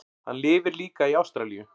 Hann lifir líka í Ástralíu.